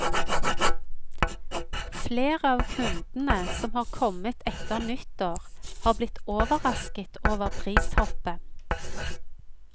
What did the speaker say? Flere av kundene som har kommet etter nyttår, har blitt overrasket over prishoppet.